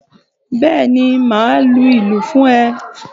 Bẹ́ẹ̀ ni, màá lu ìlù fún ẹ